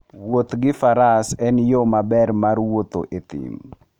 Wuoth gi faras en yo maber mar wuotho e thim.